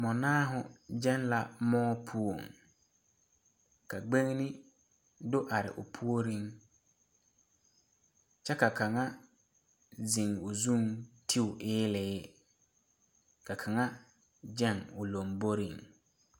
Mɔnaao gaŋgɛɛ la moɔ poɔ ka gbeŋne do are o puoreŋ kyɛ ka kaŋa zeŋ o zuŋ ti o eelee ka kaŋa gaŋ o lomboreŋ.